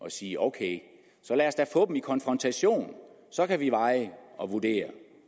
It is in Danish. at sige ok så lad os da få dem i konfrontation så kan vi veje og vurdere